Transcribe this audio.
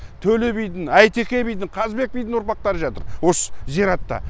төле бидің әйтеке бидің қазыбек бидің ұрпақтары жатыр осы зиратта